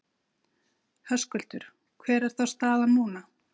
Höskuldur: Hver er þá staðan núna?